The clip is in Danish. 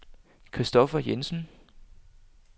Christoffer Jensen